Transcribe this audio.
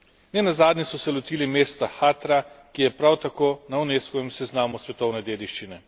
Nenazadnje so se lotili mesta Hatra, ki je prav tako na Unescovem seznamu svetovne dediščine.